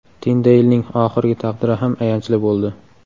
Tindeylning oxirgi taqdiri ham ayanchli bo‘ldi.